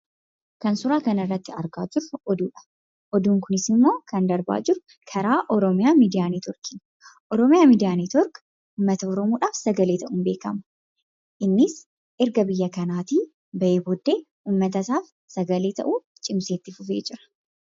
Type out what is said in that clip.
Kan suuraa kanarratti argaa jirru oduudha. Oduun kunis immoo kan darbaa jiru karaa Oromiyaa miidiiyaa Neetiwoorkiidha. Oromiyaa Miidiyaa Neetiwoork uummata Oromoodhaaf sagalee ta'uun beekama. Innis erga biyya kanaatii bahee booddee, uummatasaaf sagalee tahuuf cimsee itti fufee jira.